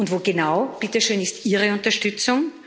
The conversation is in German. Wo genau bitte schön ist Ihre Unterstützung?